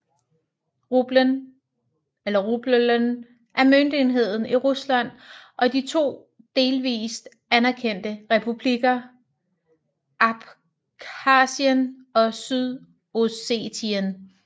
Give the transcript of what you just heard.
Rublen eller rubelen er møntenheden i Rusland og de to delvist anerkendte republikker Abkhasien og Sydossetien